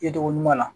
I tɔgɔ ɲuman na